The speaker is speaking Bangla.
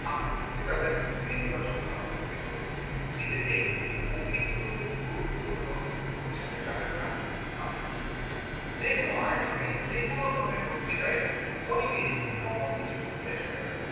আপনার প্রতি তাদের নেতিবাচক ভাবনা তৈরি হবে নিজেকে অতিরিক্ত গুরুত্বপূর্ণ বোঝাতে যাবেন না আপনার বক্তব্যে যে কোন আয়োজনে যেকোনো ধরনের বক্তৃতা অনেকেই কত কিছু ভুল দেখা যায়